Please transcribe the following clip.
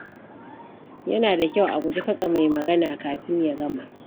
Yana da kyau a guji katse mai magana kafin ya gama.